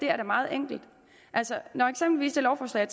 er da meget enkelt altså når eksempelvis det lovforslag